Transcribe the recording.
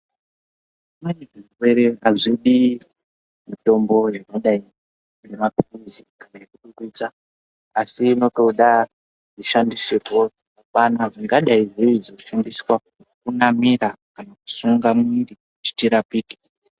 Zvimweni zvirwere azvidi mitombo yakadai ngemapilisi kana yokudusa asi inotoda kushandisirwa kana dzingadai dziri dzokunamirwa kana kusunga muwiri kuti tirapike.